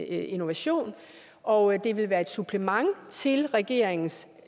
innovation og det vil være et supplement til regeringens